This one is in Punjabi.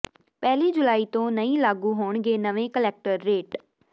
ਪਹਿਲੀ ਜੁਲਾਈ ਤੋਂ ਨਹੀਂ ਲਾਗੂ ਹੋਣਗੇ ਨਵੇਂ ਕਲੈਕਟਰ ਰੇਟ